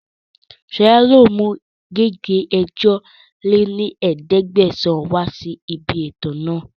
Sọla yìí ó mú gègé ẹ̀jọ lé ní ẹ̀ẹ́dẹ́gbẹ́sán wá sí ibi ètò náà